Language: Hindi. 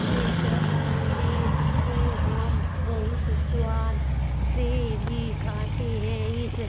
इस आमलेट को हम बहुत स्वाद से भी खाते हैं| इस --